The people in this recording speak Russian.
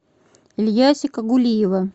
ильясика гулиева